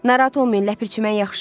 "Narahat olmayın, Ləpirçi, mən yaxşıyam."